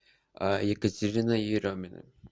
екатерина еремина